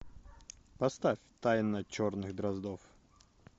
поставь тайна черных дроздов